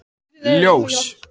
Ljós